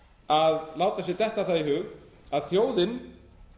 að láta sér detta það í hug að þjóðin